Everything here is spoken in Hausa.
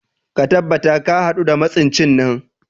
Ka tabbata ka hadu da masuncin nan